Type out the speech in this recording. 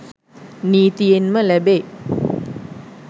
නීතියෙන්ම ලැබේ.